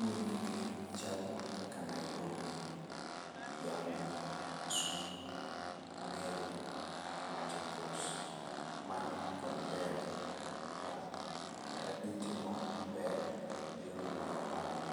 Gwenge gi chalo kaka Nairobi, Kiambu, Kisumu, Meru, Machakos man kod ber ma kata gitimo maber e yo no mar ohala.